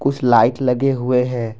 कुछ लाइट लगे हुए हैं।